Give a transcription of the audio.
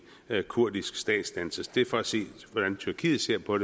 kurdisk statsdannelse det er for at sige hvordan tyrkiet ser på